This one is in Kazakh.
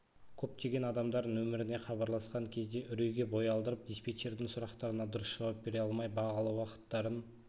көптеген адамдар нөміріне хабарласқан кезде үрейге бой алдырып диспетчердің сұрақтарына дұрыс жауап бере алмай бағалы уақыттарын